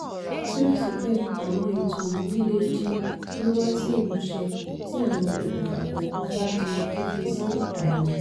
síbẹ̀síbẹ̀ àwọn ètò yìí lè di wíwá sí ìmúṣẹ tí àwọn okùnfà kọ̀ọ̀kan bá di fífi sí ààyè.